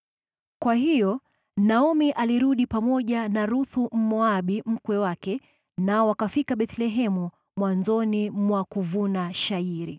Kwa hiyo Naomi alirudi pamoja na Ruthu Mmoabu mkwe wake, nao wakafika Bethlehemu mwanzoni mwa kuvuna shayiri.